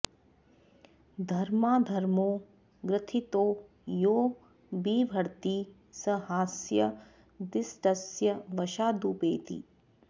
धर्माधर्मौ ग्रथितौ यो बिभर्ति स ह्यस्य दिष्टस्य वशादुपैति